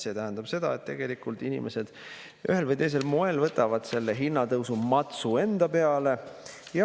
See tähendab, et inimesed ühel või teisel moel võtavad selle hinnatõusumatsu enda peale.